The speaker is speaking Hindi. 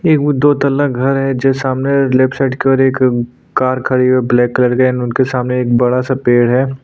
एक वो दो तला घर है जो सामने लेफ्ट साइड पर एक कार खड़ी है ब्लैक कलर के एंड उनके सामने एक बड़ा सा पेड़ है।